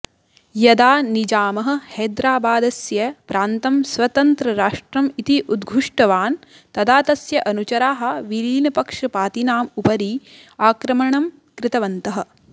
यदा निजामः हैदराबादस्य प्रान्तं स्वतन्त्रराष्ट्रम् इति उद्घुष्टवान् तदा तस्य अनुचराः विलीनपक्षपातिनाम् उपरि आक्रमणम् कृतवन्तः